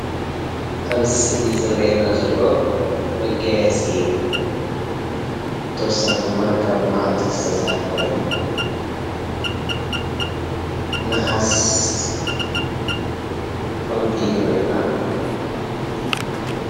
ኣብዚ ስእሊ ዝርአየና ዘሎ መጋየፂ እዩ ብተወሳኺ ድማ ካብ መዓድን ዝተሰርሐ ኮይኑ ነሃስ ዕንቒ ይረአየና አሎ